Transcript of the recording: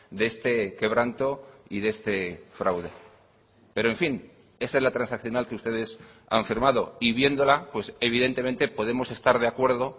de este quebranto y de este fraude pero en fin esa es la transaccional que ustedes han firmado y viéndola pues evidentemente podemos estar de acuerdo